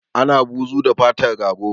Ana buzu da fatar rago